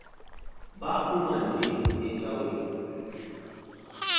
baphuma nje ecaweni